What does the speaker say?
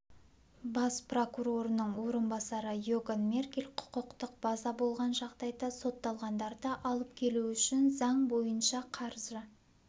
бас прокурорының орынбасары иоган меркель құқықтық база болған жағдайда сотталғандарды алып келу үшін заң бойынша қаржы